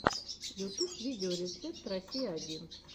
ютуб видеорецепт россия один